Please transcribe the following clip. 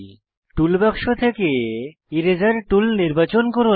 toolbox থেকে eraser tool নির্বাচন করুন